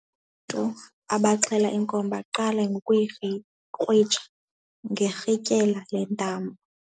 Abaxhele inkomo baqale ngokuyikrwitsha ngerhintyela lentambo.